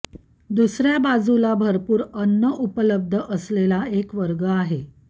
दुसर्या बाजूला भरपूर अन्न उपलब्ध असलेला एक वर्ग आहे